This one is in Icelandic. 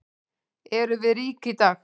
Erum við rík í dag?